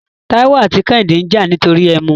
Tàíwò àti Kẹ́hìndé ń jà nítorí ẹmu.